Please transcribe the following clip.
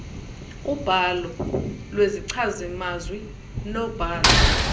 ubhalo lwezichazimazwi nobhalo